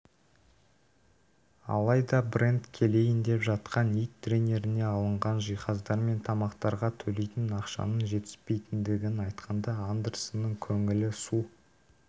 алайда брэнд келейін деп жатқан ит тренеріне алынған жиһаздар мен тамақтарға төлейтін ақшаның жетіспейтіндігін айтқанда андерсонның көңілі су